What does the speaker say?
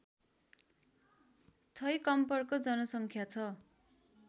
छैकम्परको जनसङ्ख्या छ